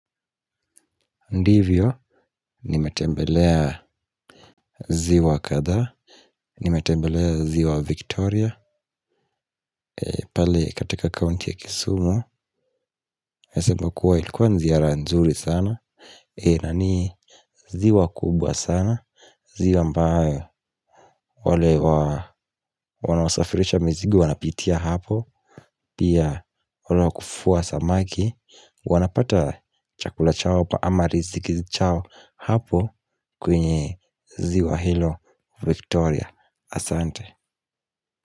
Ndivyo, nimetembelea ziwa kadhaa, nimetembelea ziwa Victoria, pale katika kaunti ya kisumu naeza sema kuwa ilikuwa ziara nzuri sana, na ni ziwa kubwa sana. Ziwa ambayo, wale wa, wanaosafirisha mizigo wanapitia hapo, pia wale wa kuvua samaki wanapata chakula chao hapo ama riziki chao hapo kwenye ziwa hilo Victoria. Asante.